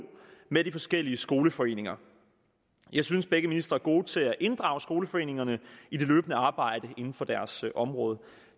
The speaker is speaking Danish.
med de forskellige skoleforeninger jeg synes begge ministre er gode til at inddrage skoleforeningerne i det løbende arbejde inden for deres område